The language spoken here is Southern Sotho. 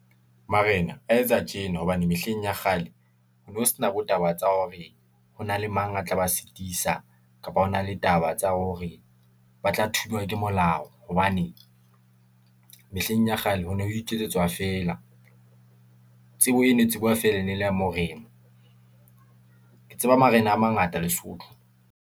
Marena a etsa tjena hobane mehleng ya kgale ho no ho sena bo taba tsa hore ho na le mang a tla ba sitisa , kapa hona le taba tsa hore ba tla thujwa ke molao. Hobane , mehleng ya kgale ho ne ho iketsetswa feela . tsebo eno e tsejwa feela ene le morena . Ke tseba marena a mangata lesotho.